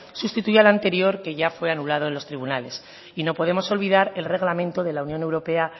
sustituye al anterior que ya fue anulado en los tribunales y no podemos olvidar el reglamento de la unión europea